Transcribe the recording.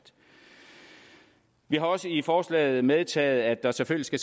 vi har også i forslaget medtaget at der selvfølgelig